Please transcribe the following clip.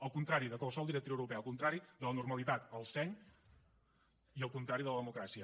el contrari de qualsevol directiva europea el contrari de la normalitat el seny i el contrari de la democràcia